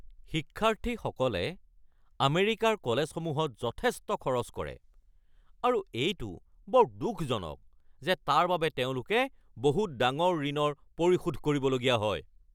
শিক্ষাৰ্থীসকলে আমেৰিকাৰ কলেজসমূহত যথেষ্ট খৰচ কৰে আৰু এইটো বৰ দুখজনক যে তাৰ বাবে তেওঁলোকে বহুত ডাঙৰ ঋণৰ পৰিশোধ কৰিবলগীয়া হয়।